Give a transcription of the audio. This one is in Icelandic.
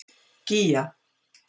Gígja